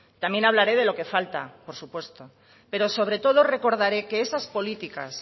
también hablaré de lo que falta por supuesto pero sobre todo recordaré que esas políticas